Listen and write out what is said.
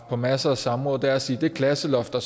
på masser af samråd er at sige at det klasseloft der